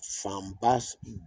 Fanba